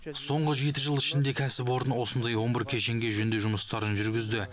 соңғы жеті жыл ішінде кәсіпорын осындай он бір кешенге жөндеу жұмыстарын жүргізді